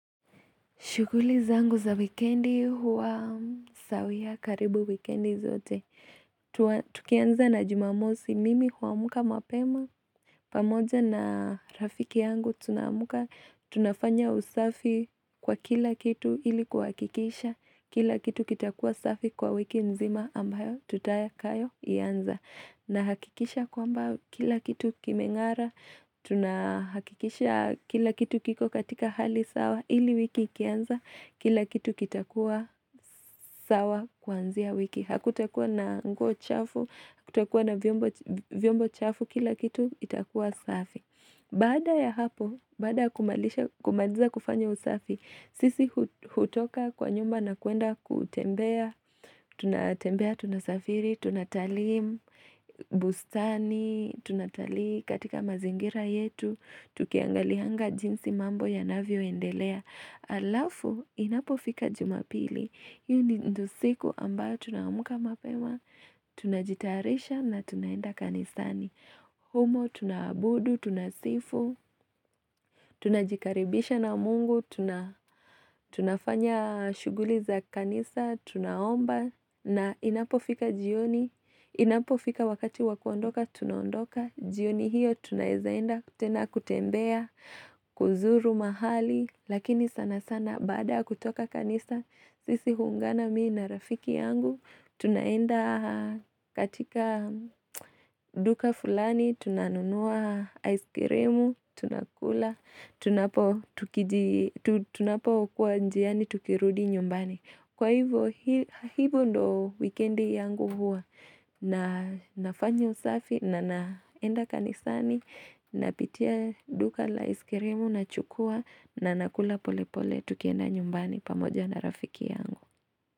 Shughuli zangu za wikendi huwa sawia karibu wikendi zote. Tukianza na jumamosi mimi huamka mapema. Pamoja na rafiki yangu tunaamka. Tunafanya usafi kwa kila kitu ili kuhakikisha. Kila kitu kitakua safi kwa wiki nzima ambayo tutakayo ianza. Nahakikisha kwamba kila kitu kimeng'ara. Tunahakikisha kila kitu kiko katika hali sawa ili wiki ikianza, kila kitu kitakuwa sawa kwanzia wiki Hakutakuwa na nguo chafu, hakutakuwa na vyombo chafu Kila kitu itakuwa safi Baada ya hapo, baada ya kumaliza kufanya usafi sisi hutoka kwa nyumba na kuenda kutembea tunatembea, tunasafiri, tunatalii bustani Tunatalii katika mazingira yetu Tukiangalianga jinsi mambo yanavyoendelea Alafu inapofika jumapili hiyo ndio usiku ambayo tunaamka mapema Tunajitayarisha na tunaenda kanisani humo tunabudu, tunasifu Tunajikaribisha na mungu tunafanya shughuli za kanisa Tunaomba na inapofika jioni Inapofika wakati wakuondoka Tunaondoka jioni hiyo tunaezaenda kutembea kuzuru mahali Lakini sana sana baada ya kutoka kanisa sisi huungana mimi na rafiki yangu Tunaenda katika duka fulani Tunanunua ice cream Tuna kula tunapo tuki Tunapokua njiani tukirudi nyumbani Kwa hivyo hivyo ndo wikendi yangu huwa na nafanyo usafi na naenda kanisani napitia duka la iskirimu nachukua nanakula pole pole tukienda nyumbani pamoja na rafiki yangu.